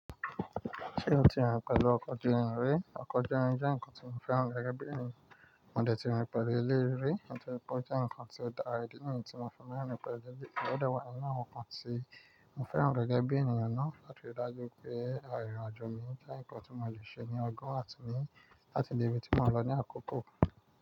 Ṣé o ti rìn pẹ̀lú ọkọ̀ ojú irin rí? Ọkọ̀ ojú irin jẹ́ nǹkan tí mo fẹ́ràn rẹ̀ gẹ́gẹ́ bí ènìyàn, mo dẹ̀ ti rìn pẹ̀lú elé rí, mo tẹ̀ wípé ó jẹ́ ǹkan tí ó dára rẹ̀ dídì, nǹkan tí mo fẹ́ràn rìn pẹ̀lú jẹ́jẹ́rẹ́, ó dàwọ́ nǹkan tí mo fẹ́ràn rẹ̀ gẹ́gẹ́ bí ènìyàn náà, láti dájú pé àrìnàjò mi jẹ́ ǹkan tí mo le ṣe ní ọgbọ́n àti mi láti di ibi tí mo lọ ní àkókò.